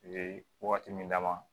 Ee wagati min dama